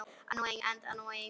Fyrir ofan bæinn.